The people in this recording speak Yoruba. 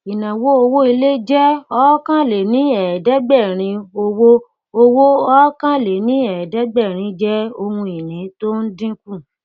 inawo owó ilé jẹ okòóléníẹẹdẹgbẹrin owó owó okòóléníẹẹdẹgbẹrin jẹ ohun ìní tó ń dinku